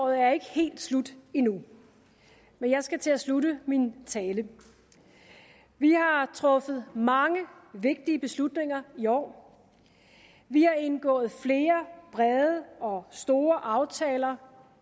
er ikke helt slut endnu men jeg skal til at slutte min tale vi har truffet mange vigtige beslutninger i år vi har indgået flere brede og store aftaler